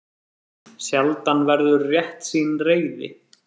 Sjaldan verður réttsýn reiði.